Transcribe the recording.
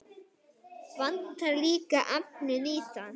Vantar líka efnið í það.